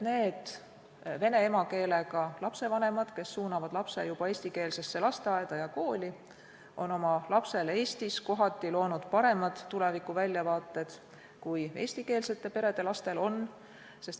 Need vene emakeelega lapsevanemad, kes suunavad lapse eestikeelsesse lasteaeda ja kooli, on oma lapsele Eestis kohati loonud paremad tulevikuväljavaated kui eestikeelsete perede lastel on.